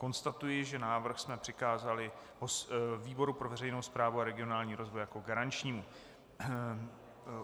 Konstatuji, že návrh jsme přikázali výboru pro veřejnou správu a regionální rozvoj jako garančnímu.